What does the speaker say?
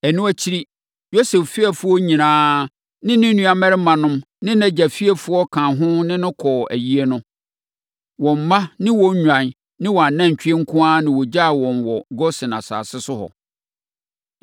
Ɛno akyiri, Yosef fiefoɔ nyinaa a ne nuammarimanom ne nʼagya fiefoɔ ka ho ne no kɔɔ ayie no. Wɔn mma ne wɔn nnwan ne wɔn anantwie nko ara na wɔgyaa wɔn wɔ Gosen asase so hɔ.